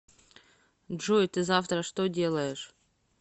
джой ты завтра что делаешь